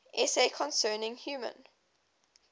essay concerning human